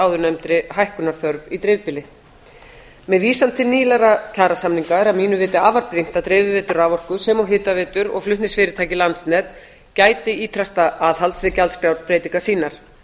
áðurnefndri hækkunarþörf í dreifbýli með vísan til nýlegra kjarasamninga er að mínu viti afar brýnt að dreifiveitur raforku sem og hitaveitur og flutningsfyrirtækið landsnet gæti ýtrasta aðhalds við gjaldskrárbreytingar sínar